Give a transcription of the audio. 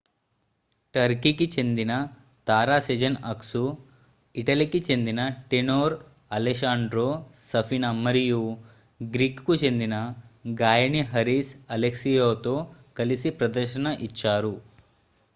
టర్కీకి చెందిన తార Sezen Aksu ఇటలీకి చెందిన టేనోర్ అలెశాండ్రో సఫీనా మరియు గ్రీకుకు చెందిన గాయని హారిస్ అలెక్సియోతో కలిసి ప్రదర్శన ఇచ్చారు